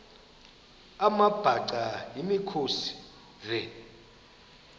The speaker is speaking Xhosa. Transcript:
amabhaca yimikhosi the